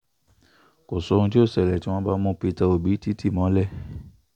kò sóhun tí yóò ṣẹlẹ̀ tí wọ́n bá mú pété obi tì tì mọ́lẹ̀